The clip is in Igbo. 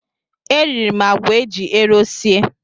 E riri m àgwà eji ero sie.